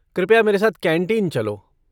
कृपया मेरे साथ कैंटीन चलो।